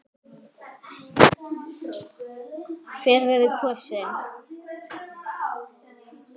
Hver verður kosinn?